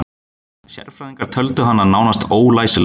Sérfræðingar töldu hana nánast ólæsilega